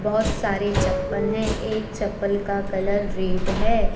बहुत सारे चप्पल है। एक चप्पल का कलर रेड है।